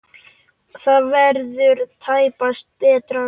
Það verður tæpast betra.